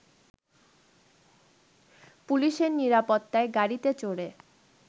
পুলিশের নিরাপত্তায় গাড়িতে চড়ে